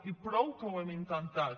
i prou que ho hem intentat